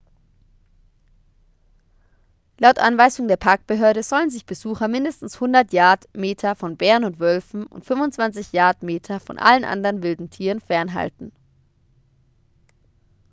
laut anweisung der parkbehörde sollen sich besucher mindestens 100 yard/meter von bären und wölfen und 25 yard/meter von allen anderen wilden tieren fernhalten!